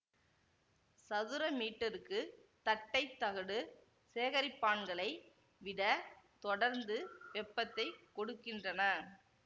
சதுர மீட்டருக்கு தட்டை தகடு சேகரிப்பான்களை விட தொடர்ந்து வெப்பத்தை கொடுக்கின்றன